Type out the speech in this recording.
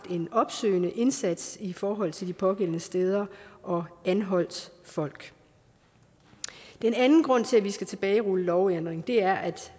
en opsøgende indsats i forhold til de pågældende steder og der anholdt folk den anden grund til at vi skal tilbagerulle lovændringen er at